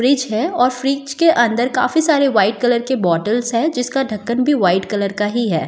Fridge है और fridge के अंदर काफी सारे वाइट कलर के बॉटल्स है जिसका ढक्कन भी वाइट कलर का ही है।